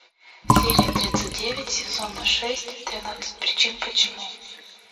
серия тридцать девять сезона шесть тринадцать причин почему